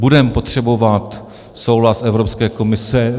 Budeme potřebovat souhlas Evropské komise.